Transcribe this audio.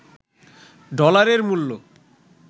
ডলারের মূল্য